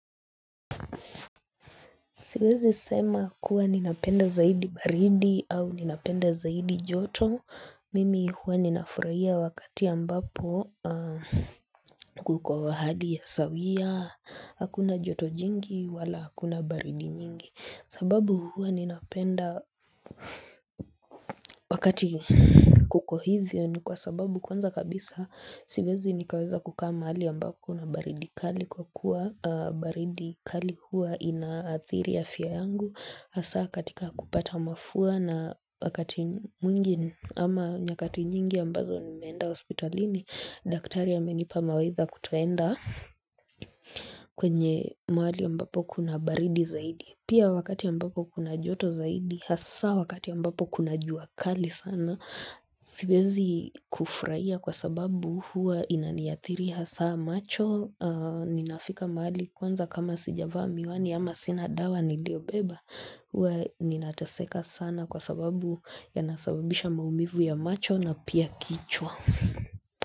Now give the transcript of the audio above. Siwezi sema kuwa ninapenda zaidi baridi au ninapenda zaidi joto, mimi huwa ninafurahia wakati ambapo kuko wahadi ya sawia, hakuna joto jingi wala hakuna baridi nyingi. Sababu huwa ninapenda wakati kuko hivyo ni kwa sababu kwanza kabisa siwezi nikaweza kukaa mahali ambako kuna baridi kali kwa kuwa baridi kali huwa inaathiri afya yangu hAsa katika kupata mafua na wakati mwingi ama nyakati nyingi ambazo nimeenda hospitalini Daktari amenipa mawaidha kutoenda kwenye mahali ambapo kuna baridi zaidi Pia wakati ambapo kuna joto zaidi, hasa wakati ambapo kuna jua kali sana, siwezi kufrahia kwa sababu huwa inaniathiri hasa macho, ninafika mahali kwanza kama sijavaa miwani ama sina dawa niliyobeba. Huwa ninataseka sana kwa sababu ya nasababisha maumivu ya macho na pia kichwa.